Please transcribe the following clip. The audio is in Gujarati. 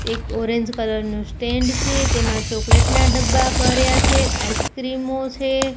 એક ઓરેન્જ કલર નું સ્ટેન્ડ છે તેમાં ચોકલેટ ના ડબ્બા ભર્યા છે આઈસ્ક્રીમો છે.